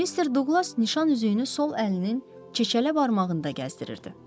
Mister Duqlas nişan üzüyünü sol əlinin çeçələ barmağında gəzdirirdi.